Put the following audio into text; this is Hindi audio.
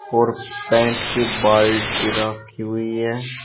और पेंट की बाल्टी रखी हुई है।